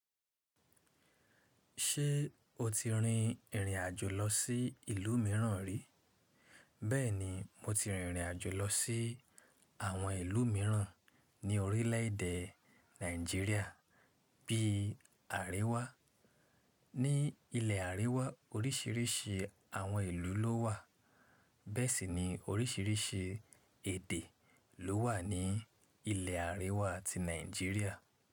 Ṣé o ti rin ìrìn àjò lọ sí ìlú mìíràn rí? Bẹ́ẹ̀ni, mo ti rin ìrìn àjò lọ sí àwọn ìlú mìíràn ní orílẹ̀ èdè Nàìjíríà bíi àríwá. Ní ilẹ̀ àríwá oríṣìíríṣìí àwọn ìlú ló wà. Bẹ́ẹ̀ sì ni oríṣìíríṣìí èdè ló wà ní ilẹ̀ àríwá ti Nàìjíríà.